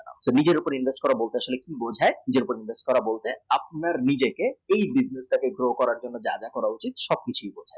নিজের উপর invest বলতে সে একটু লজ্জায় নিজের উপর invest করা বলতে আপনার নিজেকে এই business টা grow করার জন্য যা যা করা উচিত